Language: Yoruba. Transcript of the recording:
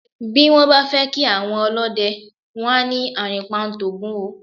Bí wọ́n bá fẹ́ kí àwọn ọlọ́dẹ, wọ́n á ní "àrìnpa ń t'Ògún o".